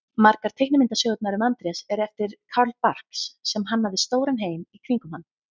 Margar teiknimyndasögurnar um Andrés eru eftir Carl Barks sem hannaði stóran heim í kringum hann.